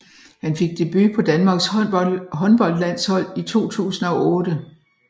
Han fik debut på Danmarks håndboldlandshold i 2008